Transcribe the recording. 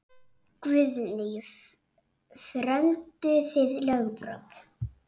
Guðný: Frömduð þið lögbrot?